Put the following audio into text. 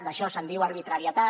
d’això se’n diu arbitrarietat